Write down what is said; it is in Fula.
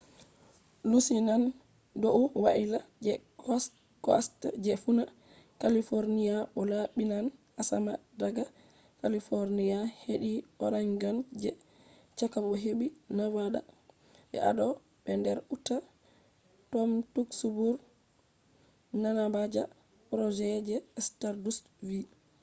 lusinan dou waila je coast je funa california bo laabinan asama daga california hedi oregon je chaka bo hedi nevada be idaho be nder utah,” tom duxbury manaja project je stardust vi